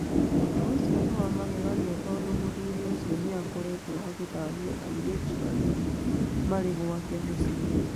"Ũndũ ũcio nĩ wa magegania tondũ mũthuri ũcio nĩ akoretwo akĩthahia airĩtu arĩa marĩ gwake mũciĩ.